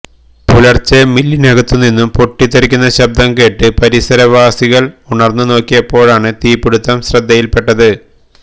പുലര്ച്ചെ മില്ലിനകത്തു നിന്നു പൊട്ടിത്തെറിക്കുന്ന ശബ്ദം കേട്ട് പരിസരവാസികള് ഉണര്ന്നു നോക്കിയപ്പോഴാണ് തീപിടുത്തം ശ്രദ്ധയില് പെട്ടത്